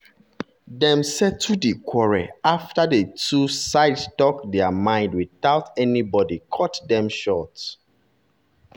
dem settle di quarrel after the two sides talk their mind without anybody cut dem short.